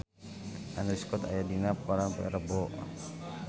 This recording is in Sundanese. Andrew Scott aya dina koran poe Rebo